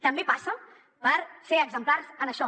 també passa per ser exemplars en això